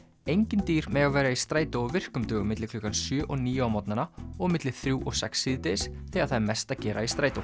engin dýr mega vera í strætó á virkum dögum milli klukkan sjö og níu á morgnana og milli þrjú og sex síðdegis þegar það er mest að gera í strætó